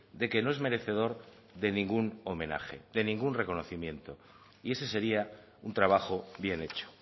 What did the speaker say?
de que no es merecedor de ningún homenaje de ningún reconocimiento y ese sería un trabajo bien hecho